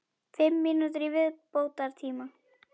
Fimm mínútur í viðbótartíma?